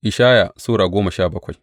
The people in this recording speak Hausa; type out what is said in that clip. Ishaya Sura goma sha bakwai